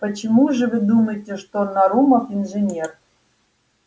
почему же вы думаете что нарумов инженер